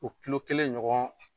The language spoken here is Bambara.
O kilo kelen ɲɔgɔn